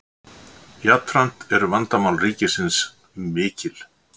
jafnframt eru vandamál ríkisins mikil